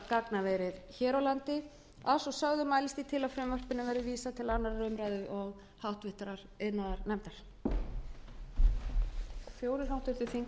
gagnaverið hér á landi að svo sögðu mælist ég til að frumvarpinu verði vísað til annarrar umræðu og háttvirtur iðnaðarnefndar